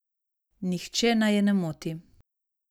Nihče naj je ne moti.